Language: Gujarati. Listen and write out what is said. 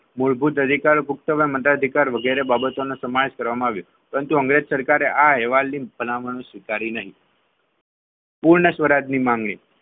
મૂળભૂત અધિકાર ભૂખતોમાં મદા અધિકાર વગેરે કરવામાં આવ્યો પરંતુ અંગ્રેજ સરકારે આ ભલામણ કરી નહીં પૂર્ણ સ્વરાજની માંગણી,